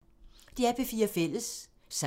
DR P4 Fælles